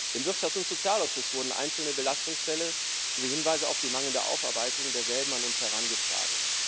Im Wirtschafts und Sozialausschuss wurden einzelne Belastungsfälle sowie Hinweise auf deren mangelnde Aufarbeitung an uns herangetragen.